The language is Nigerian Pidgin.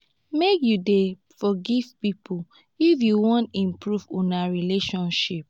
make you dey forgive pipo if you wan improve una relationship.